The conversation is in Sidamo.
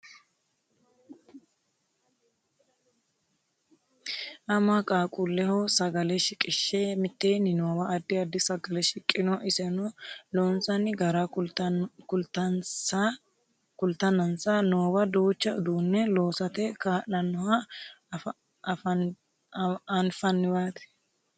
ama qaaqquulleho sagale shiqishshe mitteenni noowa addi addi sagale shiqqino iseno loonsanni gara kultannansa noowa duucha uduunne loosate kaa'lannoha anfanniwaati